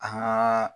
An ka